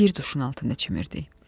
Bir duşun altında çimirdik.